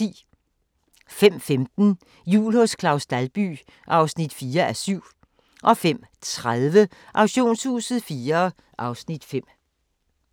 05:15: Jul hos Claus Dalby (4:7) 05:30: Auktionshuset IV (Afs. 5)